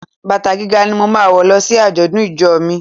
Bàtà gíga ni máa wò lọ sí àjọ̀dún ìjọ mi.